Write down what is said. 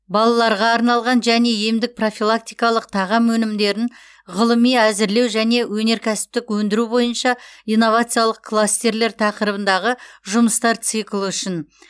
балаларға арналған және емдік профилактикалық тағам өнімдерін ғылыми әзірлеу және өнеркәсіптік өндіру бойынша инновациялық кластерлер тақырыбындағы жұмыстар циклі үшін